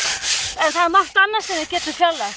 en það er margt annað sem við getum fjarlægt